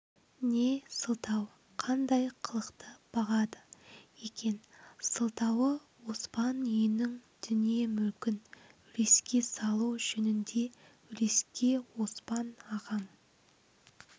не сылтау қандай қылықты бағады екен сылтауы оспан үйінің дүние-мүлкін үлеске салу жөнінде үлеске оспан ағам